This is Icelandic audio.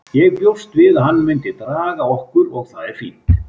Ég bjóst við að hann myndi draga okkur og það er fínt.